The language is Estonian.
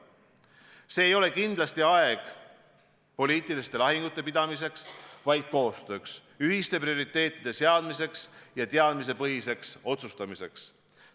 See ei ole kindlasti aeg poliitiliste lahingute pidamiseks, vaid koostööks, ühiste prioriteetide seadmiseks ja teadmistepõhiseks otsustamiseks.